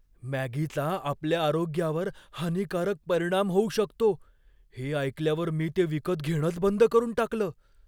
मॅगीचा आपल्या आरोग्यावर हानिकारक परिणाम होऊ शकतो हे ऐकल्यावर मी ते विकत घेणंच बंद करून टाकलं.